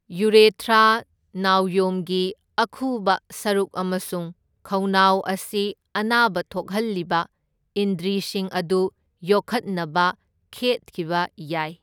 ꯌꯨꯔꯦꯊ꯭ꯔꯥ, ꯅꯥꯎꯌꯣꯝꯒꯤ ꯑꯈꯨꯕ ꯁꯔꯨꯛ ꯑꯃꯁꯨꯡ ꯈꯧꯅꯥꯎ ꯑꯁꯤ ꯑꯅꯥꯕ ꯊꯣꯛꯍꯜꯂꯤꯕ ꯏꯟꯗ꯭ꯔꯤꯁꯤꯡ ꯑꯗꯨ ꯌꯣꯛꯈꯠꯅꯕ ꯈꯦꯠꯈꯤꯕ ꯌꯥꯏ꯫